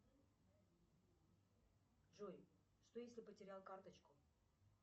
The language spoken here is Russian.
джой что если потерял карточку